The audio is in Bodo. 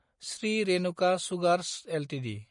Shri Renuka sugars Ltd